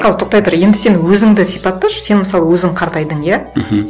қазір тоқтай тұр енді сен өзіңді сипатташы сен мысалы өзің қартайдың иә мхм